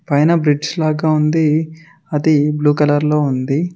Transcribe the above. పైన బ్రిడ్జి లాగా ఉంది అది బ్లూ కలర్ లో ఉంది.